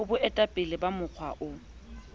ho boetapele ba mokga o